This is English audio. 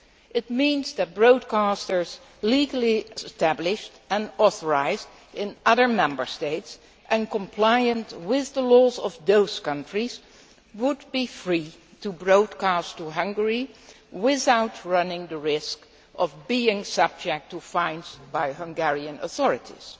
It means that broadcasters legally established and authorised in other Member States, and compliant with the laws of those countries, would be free to broadcast to Hungary without running the risk of being subject to fines by Hungarian authorities.